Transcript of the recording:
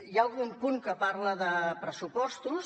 hi ha algun punt que parla de pressupostos